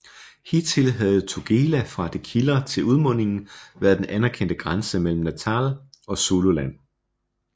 Hidtil havde Tugela fra det kilder til udmundingen været den anerkendte grænse mellem Natal og Zululand